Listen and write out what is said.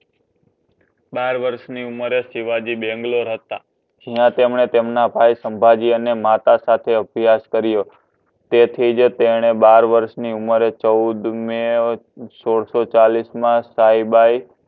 બાર વર્ષની ઉંમરે શિવાજી બેંગ્લોર હતા એમાં તેમણે તેમના ભાઈ સંભાજી અને માતા સાથે અભ્યાસ કર્યો તેથી જ તેમણે બાર વર્ષ ની ઉમેર એ ચૌદ મે સોડસોચાલીસ મા પાઇબાઇ